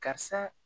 Karisa